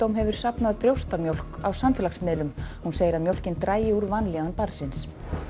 hefur safnað brjóstamjólk á samfélagsmiðlum hún segir að mjólkin dragi úr vanlíðan barnsins